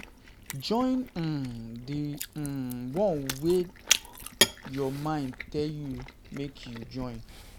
Join um di um one way your mind tell you make you join